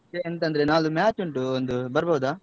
ಎಂತಂದ್ರೆ ನಾಳ್ದು match ಉಂಟು ಒಂದು, ಬರ್ಬೋದಾ?